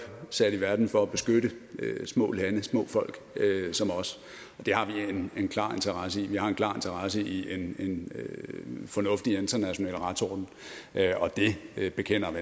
sat i verden for at beskytte små land små folk som os og det har vi en klar interesse i vi har en klar interesse i en fornuftig international retsorden og det bekender vi